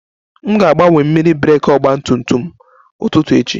M ga-agbanwe mmiri breeki ọgba tum tum ụtụtụ echi